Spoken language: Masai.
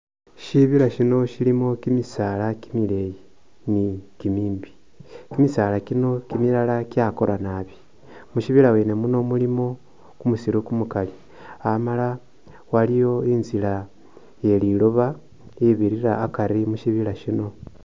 Shibila shino shilimu kimisaala kimileeyi ni kimimbi, kimisaala milala kyakora nabi. Mushibila wene muno mulimo kumusiru kumukali amala waliwo inzila ye liloba ibirira akari mu shibila shino.